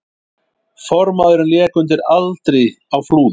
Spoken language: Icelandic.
Formaðurinn lék undir aldri á Flúðum